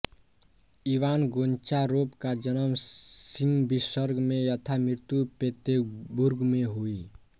Ivan Goncharov का जन्म Simbirsk में तथा मृत्यु पेतेर्बुर्ग में हुई